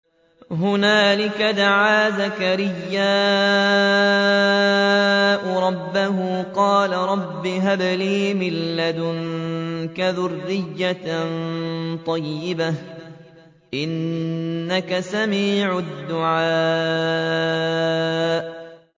هُنَالِكَ دَعَا زَكَرِيَّا رَبَّهُ ۖ قَالَ رَبِّ هَبْ لِي مِن لَّدُنكَ ذُرِّيَّةً طَيِّبَةً ۖ إِنَّكَ سَمِيعُ الدُّعَاءِ